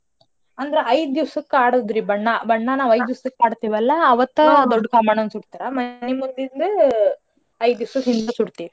ಅಂದ್ರ ಐದ್ ದಿಸಕ್ಕ ಆಡೋದ್ರಿ ಬಣ್ಣ ಬಣ್ಣ ನಾವ್ ಐದ್ ದಿಸಕ್ ಆಡ್ತೇವಲ್ಲಾ ಅವತ್ತ ದೊಡ್ ಕಾಮಣ್ಣನ್ ಸುಡ್ತರ ಮನಿ ಮುಂದಿಂದು ಐದ್ ದಿಸಕ್ ಹಿಂದ ಸುಡ್ತೀವಿ.